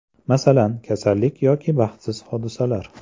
Masalan, kasallik yoki baxtsiz hodisalar.